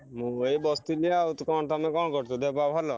ମୁଁ ଏଇ ବସିଥିଲି ଆଉ ତମେ କଣ କରୁଛ ଦେହ ପା ଭଲ?